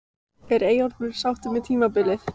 Er Eyjólfur sáttur með tímabilið?